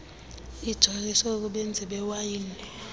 ijoliswe kubenzi bewayini